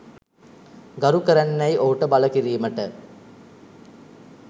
ගරු කරන්නැයි ඔහුට බල කිරීමට